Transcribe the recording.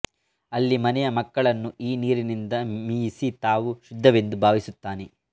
ಅಲ್ಲಿ ಮನೆಯ ಮಕ್ಕಳನ್ನು ಈ ನೀರಿನಿಂದ ಮೀಯಿಸಿ ತಾವು ಶುದ್ಧವೆಂದು ಭಾವಿಸುತ್ತಾನೆ